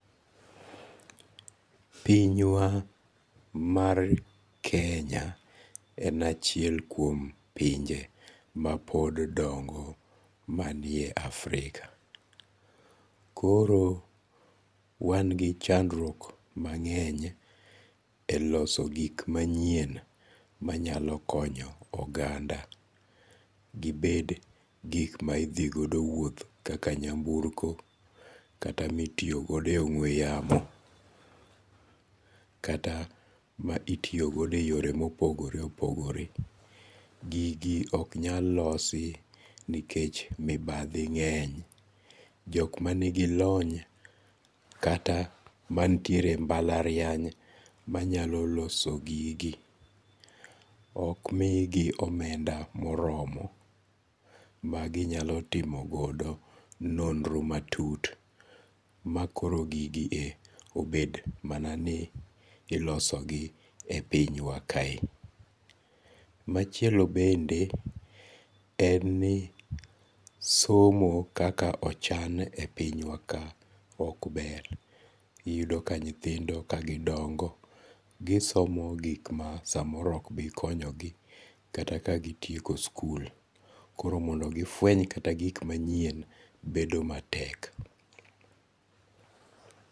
Pinywa mar Kenya en achiel kuom pinje ma pod dongo manie Africa, koro wan gi chandruok mang'eny e loso gik manyien manyalo konyo oganda, gibed gik ma idhigodo wuoth kaka nyamburko kata mitiyogo e ong'we yamo, kata ma itiyogodo e yore ma opogore opogore, gigi ok nyal losi nikech mibathi nge'ny, jok manigi lony kata manitiere e mbalariany manyalo loso gigi ok migi omenda moromo maginyalo timo godo nondro matut ma koro gigie obet mana nie ilosogi e pinywa kaendi. Machielo bende en ni somo kaka ochan e pinywa ka ok ber, iyudo ka nyithindo kagidongo gisomo gik ma samoro ok bi konyogi kata ka gitieko skul koro mondo gifweny gi manyien bedo matek.